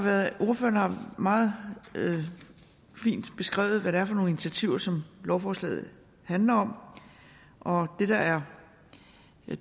meget fint beskrevet hvad det er for nogle initiativer som lovforslaget handler om og det der er